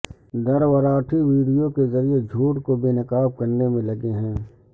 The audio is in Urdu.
دھروراٹھی ویڈیو کے ذریعہ جھوٹ کو بے نقاب کرنے میں لگے ہیں